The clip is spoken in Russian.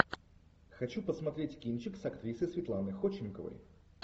хочу посмотреть кинчик с актрисой светланой ходченковой